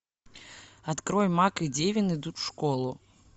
открой мак и девин идут в школу